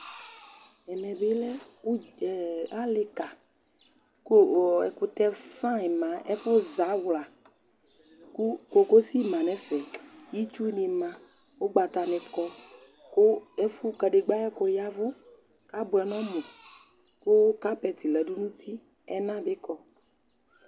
Ɛmɛ bɩ ʋdz ɛ alɩka kʋ o ɔ ɛkʋtɛ fayɩn ma Ɛfʋzawla kʋ kokosi ma nʋ ɛfɛ Itsunɩ ma, ʋgbatanɩ kɔ kʋ ɛfʋ kadegbǝ ayʋ ɛkʋ ya ɛvʋ kʋ abʋɛ nʋ ɔmʋ kʋ kapɛtɩ la dʋ nʋ uti, ɛna bɩ kɔ